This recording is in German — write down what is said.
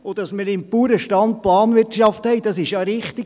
Dass wir beim Bauernstand Planwirtschaft haben, ist ja richtig.